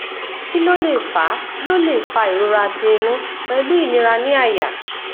kí ló lè fa ló lè fa ìrora ti inu pelu inira ni aya